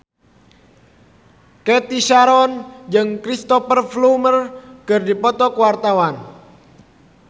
Cathy Sharon jeung Cristhoper Plumer keur dipoto ku wartawan